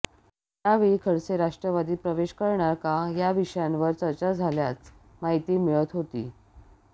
यावेळी खडसे राष्ट्रवादीत प्रवेश करणार का या विषयावर चर्चा झाल्याच माहिती मिळत होती